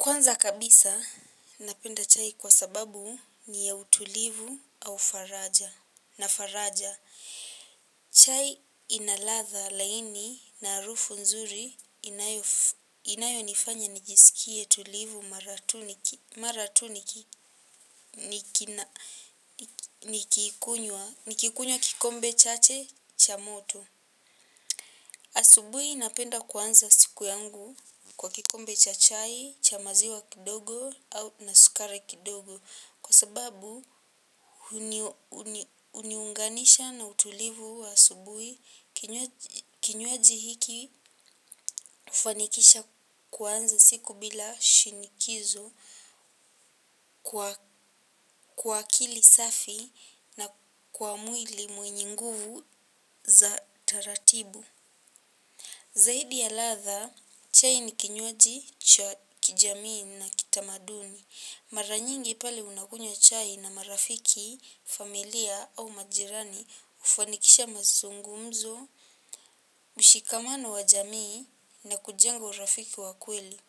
Kwanza kabisa, napenda chai kwa sababu ni ya utulivu au faraja nafaraja. Chai ina ladha laini na harufu nzuri inayonifanya nijiskie tulivu mara tu nikikunywa kikombe chache cha moto. Asubuhi napenda kuanza siku yangu kwa kikombe cha chai, cha maziwa kidogo na sukari kidogo kwa sababu huniunganisha na utulivu wa asubuhi kinywaji hiki hufanikisha kuanza siku bila shinikizo kwa akili safi na kwa mwili mwenye nguvu za taratibu. Zaidi ya latha, chai ni kinywaji, cha kijamii na kitamaduni. Mara nyingi pale unakunywa chai na marafiki, familia au majirani hufanikisha mazungumzo, mshikamano wa jamii na kujenga urafiki wa kweli.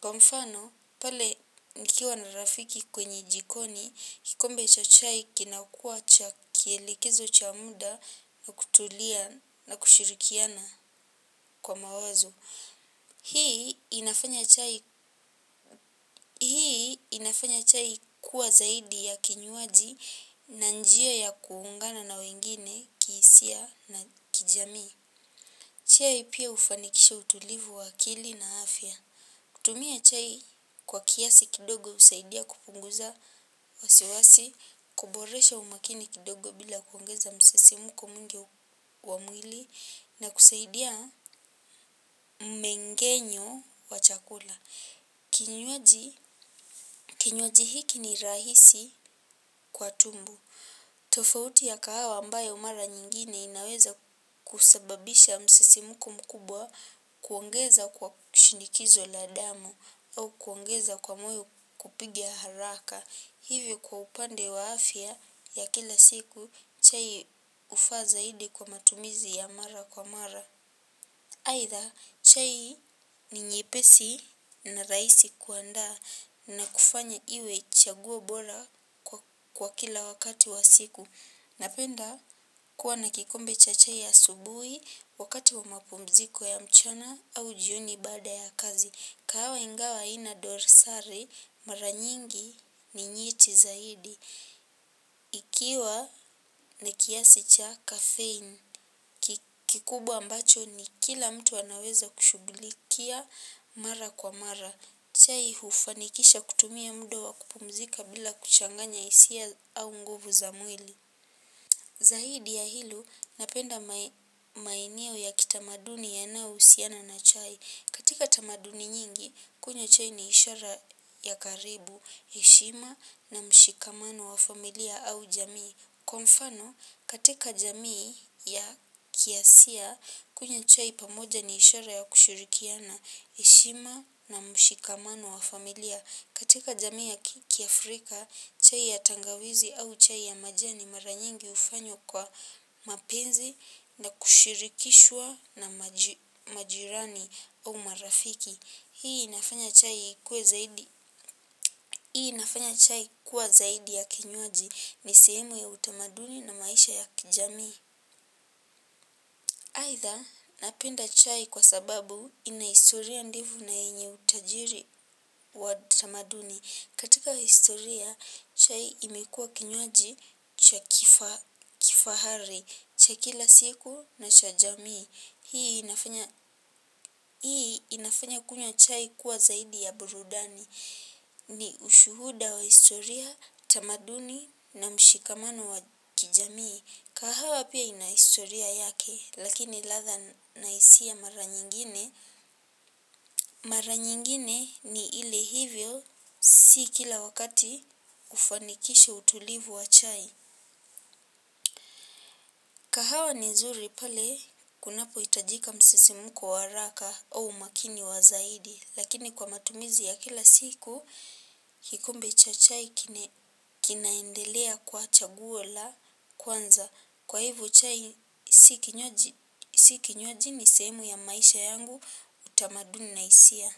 Kwa mfano, pale nikiwa na rafiki kwenye jikoni, kikombe cha chai kinakua cha kielekizo cha muda na kutulia na kushirikiana kwa mawazo. Hii inafanya chai kuwa zaidi ya kinywaji na njia ya kuungana na wengine kihisia na kijamii. Chai pia hufanikisha utulivu wa akili na afya. Kutumia chai kwa kiasi kidogo husaidia kupunguza wasiwasi, kuboresha umakini kidogo bila kuongeza msisimko mwingi wa mwili na kusaidia mmengenyo wa chakula. Kinywaji hiki ni rahisi kwa tumbo. Tofauti ya kahawa ambayo mara nyingine inaweza kusababisha msisimuko mkubwa kuongeza kwa shinikizo la damu au kuongeza kwa moyo kupiga haraka. Hivyo kwa upande wa afya ya kila siku chai hufaa zaidi kwa matumizi ya mara kwa mara. Aitha, chai ni nyepesi na rahisi kuandaa na kufanya iwe chaguo bora kwa kila wakati wa siku. Napenda kuwa na kikombe cha chai asubuhi wakati wa mapumziko ya mchana au jioni baada ya kazi. Kahawa ingawa ina dorsari mara nyingi ni nyeti zaidi. Ikiwa na kiasi cha kafein. Kikubwa ambacho ni kila mtu anaweza kushugilikia mara kwa mara chai hufanikisha kutumia mda wa kupumzika bila kuchanganya hisia au nguvu za mwili. Zahidi ya hilo napenda maeneo ya kitamaduni yanayo husiana na chai, katika tamaduni nyingi, kunywa chai ni ishara ya karibu, heshima na mshikamano wa familia au jamii. Kwa mfano, katika jamii ya kiasia, kunywa chai pamoja ni ishara ya kushirikiana, heshima na mshikamano wa familia. Katika jamii ya kiafrika, chai ya tangawizi au chai ya majani mara nyingi hufanywa kwa mapenzi na kushirikishwa na majirani au marafiki. Hii inafanya chai kuwa zaidi ya kinywaji ni sehemu ya utamaduni na maisha ya kijamii. Aitha napenda chai kwa sababu ina historia ndefu na yenye utajiri wa tamaduni. Katika historia, chai imekua kinywaji cha kifahari, chakila siku na chajamii. Hii inafanya kunywa chai kuwa zaidi ya burudani ni ushuhuda wa historia, tamaduni na mshikamano wa kijamii. Kahawa pia ina historia yake lakini ladha na hisia mara nyingine mara nyingine ni ile hivyo si kila wakati hufanikisha utulivu wa chai. Kahawa ni zuri pale kunapo hitajika msisimuko wa haraka au makini wa zaidi. Lakini kwa matumizi ya kila siku, kikombe cha chai kinaendelea kuwa chaguo la kwanza. Kwa hivo chai, si kinywaji ni sehemu ya maisha yangu utamaduni na hisia.